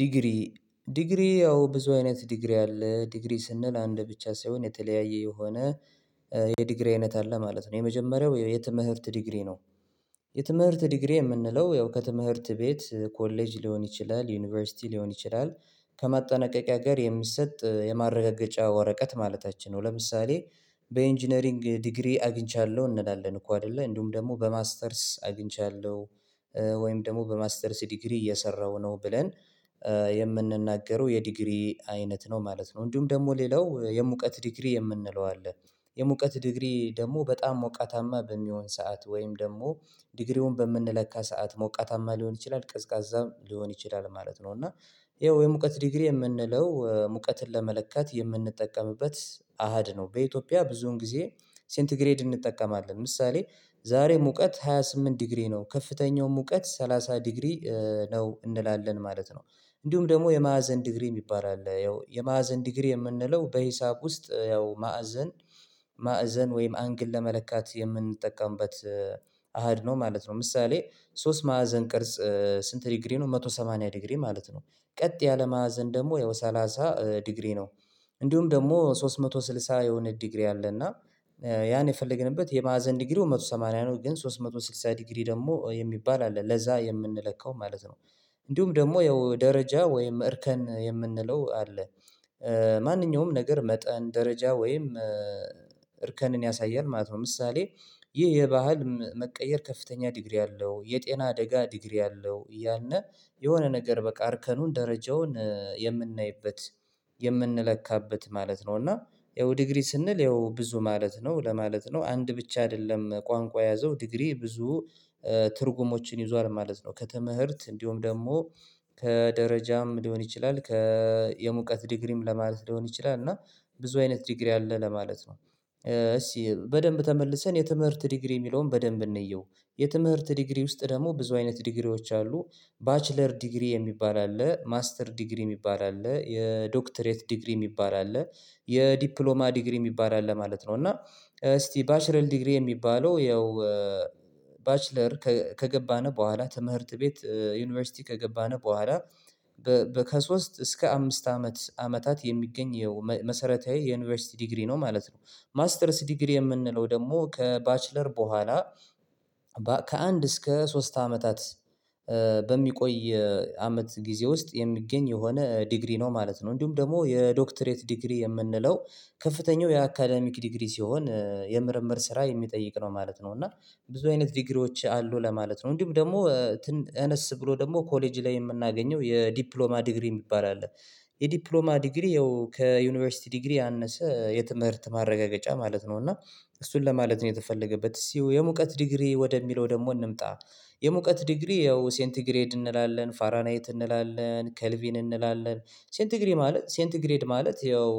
ዲግሪ ዲግሪ ያው ብዙ አይነት ዲግሪ አለ ዲግሪ ስንል አንድ ብቻ ሳይሆን የተለያየ የሆነ የዲግሪ አይነት አለ ማለት ነው። የመጀመሪያው የትምህርት ዲግሪ ነው የትምህርት ዲግሪ የምንለው ያው ከትምህርት ቤት ኮሌጅ ሊሆን ይችላል ዩኒቨርሲቲ ሊሆን ይችላል ከማጠናቀቂያ ጋር የሚሰጥ የማረጋገጫ ወረቀት ማለታችን ነው። ለምሳሌ በኢንጂነሪንግ ዲግሪ አግኝቻለሁ እንላለን እኮ አይደለ እንዲሁም ደግሞ በማስተርስ አግኝቻለሁ። ወይም ደግሞ በማስተርስ ዲግሪ እየሰራሁ ነው ብለን የምንናገረው የዲግሪ አይነት ነው ማለት ነው። እንዲሁም ደግሞ ሌላው የሙቀት ዲግሪ የምንለው አለ የሙቀት ዲግሪ ደግሞ በጣም ሞቃታማ በሚሆን ሰዓት ወይም ደግሞ ዲግሪውን በምንለካ ሰዓት ሞቃታማ ሊሆን ይችላል ቀዝቃዛም ሊሆን ይችላል ማለት ነው። እና ያው የሙቀት ዲግሪ የምንለው ሙቀትን ለመለካት የምንጠቀምበት አሃድ ነው። በኢትዮጵያ ብዙን ጊዜ ሴንቲግሬድ እንጠቀማለን ምሳሌ ዛሬ ሙቀት ሃይ ስምንት ዲግሪ ነው ከፍተኛው ሙቀት ሰላሳ ዲግሪ ነው እንላለን ማለት ነው። እንዲሁም ደግሞ የማዕዘን ዲግሪ የሚባል አለ ያው የማዕዘን ዲግሪ የምንለው በሂሳብ ውስጥ ያው ማዕዘን ማዕዘን ወይም አንግል ለመለካት የምንጠቀምበት አሃድ ነው ማለት ነው። ምሳሌ ሶስት ማዕዘን ቅርጽ ስንት ዲግሪ ነው መቶ ሰማንያ ዲግሪ ማለት ነው። ቀጥ ያለ ማዕዘን ደግሞ ያው ሰላሳ ዲግሪ ነው። እንዲሁም ደግሞ ሶስት መቶ ስልሳ የሆነ ዲግሪ አለ እና ያን የፈለገንበት የማዕዘን ዲግሪው መቶ ሰማንያ ነው ግን ሶስት መቶ ስልሳ ዲግሪ ደግሞ የሚባል አለ ለዛ የምንለካው ማለት ነው። እንዲሁም ደግሞ ያው ደረጃ ወይም እርከን የምንለው አለ ማንኛውም ነገር መጠን ደረጃ ወይም እርከንን ያሳያል ማለት ነው። ምሳሌ ይህ የባህል መቀየር ከፍተኛ ዲግሪ አለው የጤና አደጋ ዲግሪ አለው እያልን የሆነ ነገር በቃ አርከኑን ደረጃውን የምናይበት የምንለካበት ማለት ነው። እና ያው ዲግሪ ስንል ያው ብዙ ማለት ነው ለማለት ነው አንድ ብቻ አይደለም ቋንቋ የያዘው ዲግሪ ብዙ ትርጉሞችን ይዟል ማለት ነው። ከትምህርት እንዲሁም ደግሞ ከደረጃም ሊሆን ይችላል ከየሙቀት ዲግሪም ለማለት ሊሆን ይችላል እና ብዙ አይነት ዲግሪ አለ ለማለት ነው። እስቲ በደንብ ተመልሰን የትምህርት ዲግሪ የሚለውን በደንብ እንየው የትምህርት ዲግሪ ውስጥ ደግሞ ብዙ አይነት ዲግሪዎች አሉ ባችለር ዲግሪ የሚባል አለ ማስተር ዲግሪ የሚባል አለ የዶክተሬት ዲግሪ የሚባል አለ የዲፕሎማ ዲግሪ የሚባል አለ ማለት ነው። እና እስቲ ባችለር ዲግሪ የሚባለው ያው ባችለር ከገባነው በኋላ ትምህርት ቤት ዩኒቨርሲቲ ከገባን በኋላ ከሶስት እስከ አምስት አመት አመታት የሚገኝ የመሰረታዊ የዩኒቨርሲቲ ዲግሪ ነው ማለት ነው። ማስተርስ ዲግሪ የምንለው ደግሞ ከባችለር በኋላ ከአንድ እስከ ሶስት አመታት በሚቆይ አመት ጊዜ ውስጥ የሚገኝ የሆነ ዲግሪ ነው ማለት ነው። እንዲሁም ደግሞ የዶክተሬት ዲግሪ የምንለው ከፍተኛው የአካዳሚክ ዲግሪ ሲሆን የምርምር ስራ የሚጠይቅ ነው ማለት ነው። እና ብዙ አይነት ዲግሪዎች አሉ ለማለት ነው እንዲሁም ደግሞ አነስ ብሎ ደግሞ ኮሌጅ ላይ የምናገኘው የዲፕሎማ ዲግሪ የሚባል አለ የዲፕሎማ ዲግሪ ያው ከዩኒቨርሲቲ ዲግሪ ያነሰ የትምህርት ማረጋገጫ ማለት ነው። እና እሱን ለማለት ነው የተፈለገበት እስቲ የሙቀት ዲግሪ ወደሚለው ደግሞ እንምጣ የሙቀት ዲግሪ ያው ሴንት ግሬድ እንላለን ፋራናይት እንላለን ከልቪን እንላለን ሴንት ግሬድ ማለት ሴንቲ ግሬድ ማለት ያው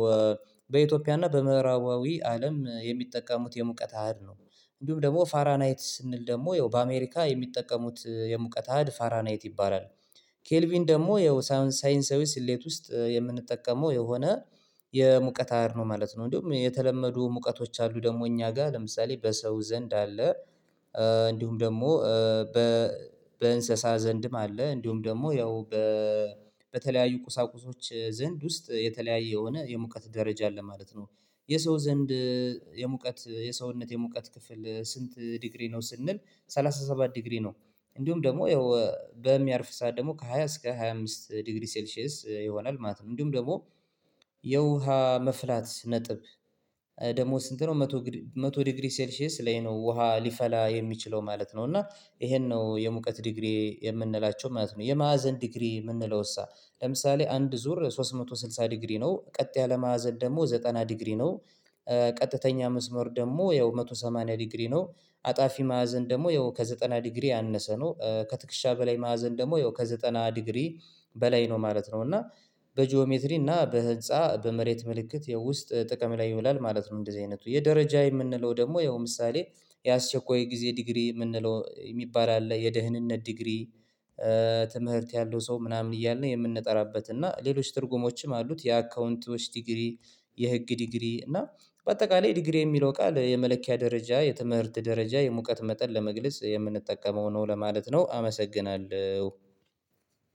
በኢትዮጵያ እና በምዕራባዊ አለም የሚጠቀሙት የሙቀት አህድ ነው። እንዲሁም ደግሞ ፋራናይት ስንል ደግሞ ያው በአሜሪካ የሚጠቀሙት የሙቀት አሀድ ፋራናይት ይባላል። ኬልቪን ደግሞ ያው ሳይንሳ ሳይንሳዊ ስሌት ውስጥ የምንጠቀመው የሆነ የሙቀት አሃድ ነው ማለት ነው። እንዲሁም የተለመዱ ሙቀቶች አሉ ደግሞ እኛ ጋር ለምሳሌ በሰው ዘንድ አለ እንዲሁም ደግሞ በእንስሳ ዘንድም አለ እንዲሁም ደግሞ ያው በ በተለያዩ ቁሳቁሶች ዘንድ ውስጥ የተለያየ የሆነ የሙቀት ደረጃ አለ ማለት ነው። የሰው ዘንድ የሙቀት የሰውነት የሙቀት ክፍል ስንት ዲግሪ ነው ስንል ሰላሳ ሰባት ዲግሪ ነው። እንዲሁም ደግሞ ያው በሚያርፍ ሰዓት ደግሞ ከሃያ እስከ ሃያ አምስት ዲግሪ ሴልሺየስ ይሆናል ማለት ነው። እንዲሁም ደግሞ የውሃ መፍላት ነጥብ ደሞ ስንት ነው መቶ መቶ ዲግሪ ሴልሺየስ ላይ ነው ውሃ ሊፈላ የሚችለው ማለት ነው። እና ይሄን ነው የሙቀት ዲግሪ የምንላቸው ማለት ነው የማዕዘን ዲግሪ የምንለው እሳ ለምሳሌ አንድ ዙር ሶስት መቶ ስልሳ ዲግሪ ነው ቀጥ ያለ ማዕዘን ደግሞ ዘጠና ዲግሪ ነው። ቀጥተኛ መስመር ደግሞ ያው መቶ ሰማንያ ዲግሪ ነው። አጣፊ ማዕዘን ደግሞ ያው ከዘጠና ዲግሪ ያነሰ ነው ከትክሻ በላይ ማዕዘን ደግሞ ያው ከዘጠና ዲግሪ በላይ ነው ማለት ነው። እና በጂኦሜትሪ እና በህንፃ በመሬት ምልክት የውስጥ ጥቅም ላይ ይውላል ማለት ነው። እንደዚህ አይነቱ የደረጃ የምንለው ደግሞ ያው ምሳሌ የአስቸኳይ ጊዜ ዲግሪ የምንለው የሚባል አለ የደህንነት ዲግሪ ትምህርት ያለው ሰው ምናምን እያልን የምንጠራበት እና ሌሎች ትርጉሞችም አሉት የአካውንቶች ዲግሪ የህግ ዲግሪ እና በአጠቃላይ ዲግሪ የሚለው ቃል የመለኪያ ደረጃ የትምህርት ደረጃ የሙቀት መጠን ለመግለጽ የምንጠቀመው ነው ለማለት ነው። አመሰግናለሁ